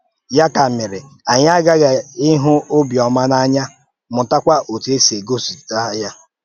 Ya kà mèrè, anyị aghàghì ịhụ̀ ọ̀bịọ́mà n’anya, mụta kwa otu esi egosipụta ya.